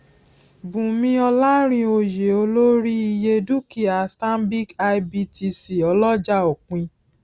bùnmí olarinoyeolórí iye dúkìá stanbic ibtc ọlọjà òpin